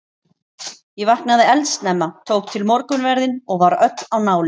Ég vaknaði eldsnemma, tók til morgunverðinn og var öll á nálum.